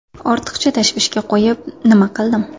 Ortiqcha tashvishga qo‘yib nima qildim.